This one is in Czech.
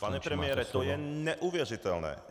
Pane premiére, to je neuvěřitelné.